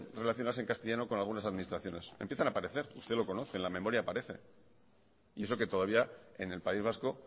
relacionarse en castellano con algunas administraciones empiezan a aparecer usted lo conoce en la memoria aparece y eso que todavía en el país vasco